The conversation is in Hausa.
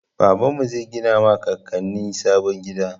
Baba zai gina ma kakanni na sabon gida.